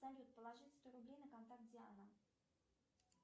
салют положить сто рублей на контакт диана